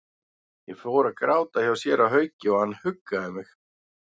Ég fór að gráta hjá séra Hauki og hann huggaði mig.